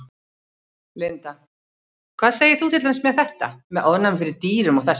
Linda: Hvað segir þú til dæmis með þetta, með ofnæmi fyrir dýrum og þess háttar?